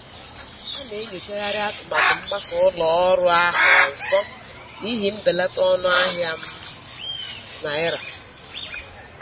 A na-enyochagharị atụmatụ mgbasa ụlọ ọrụ ahụ ọzọ n'ihi mbelata ọnụ ahịa um naira.